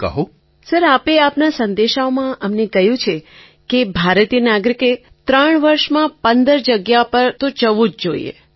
Tarannum Khan sir આપે આપના સંદેશાઓમાં અમને કહ્યું છે કે ભારતીય નાગરિકે ત્રણ વર્ષમાં ૧૫ જગ્યાઓ પર તો જવું જ જોઈએ